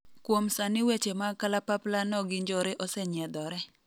kuom sani weche mag kalapapla no gi njore osenyiedhore